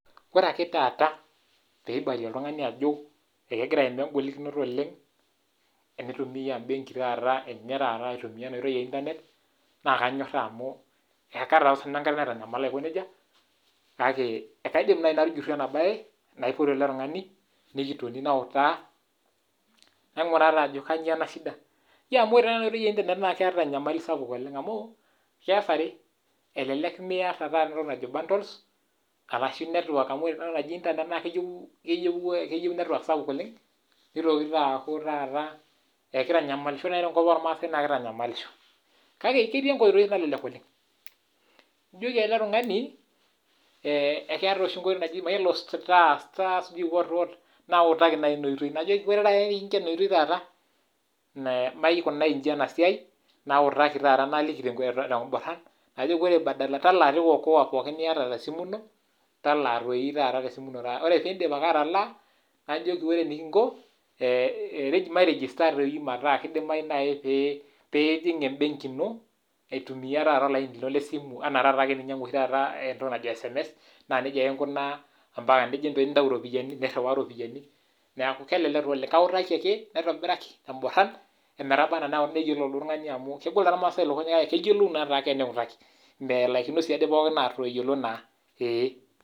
Ore pee ejo oltungani kegira aimaa ina nyamali e internet na kanyoraa ina amu etii enkolong natanyala si ninye. Na keidim si atutai oltungani amu eimayie naa ninye, amu kelelek aah network meeta arashu bundles . Amu kajoki talaa okoa pooki pee etumoki ainyangaki kewan internet te simu enye.